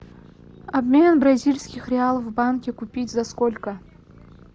обмен бразильских реалов в банке купить за сколько